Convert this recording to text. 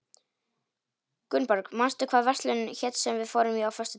Gunnborg, manstu hvað verslunin hét sem við fórum í á föstudaginn?